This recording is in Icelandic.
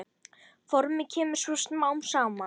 Formið kemur svo smám saman.